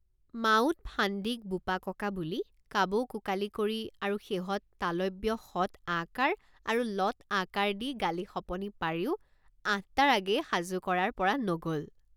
মাউত ফান্দীকবোপাককা বুলি কাবৌকোকালি কৰি আৰু শেহত তালব্য শত আকাৰ আৰু লত আকাৰ দি গালি শপনি পাৰিও আঠটাৰ আগেয়ে সাজু কৰাব পৰা নগ'ল।